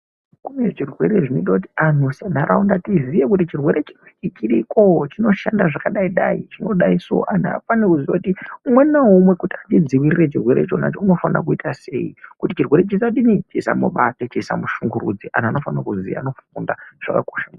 Kune zvirwere zvinoita kuti antu senharaunda tiziye kuti chirwere chiriko chinoshanda zvakadai dai chinoshanda zvakadai. Antu anofana kuziya kuti umwe naumwe unofano kuita sei kuti chirwere chisamudini chisamubata ,chisamushunguridze antu anofano kuziya anofunda zvakakosha maningi.